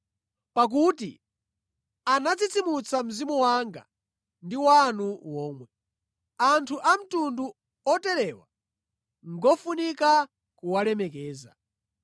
Pakuti anatsitsimutsa mzimu wanga ndi wanu womwe. Anthu a mtundu oterewa ngofunika kuwalemekeza.